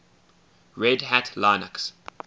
red hat linux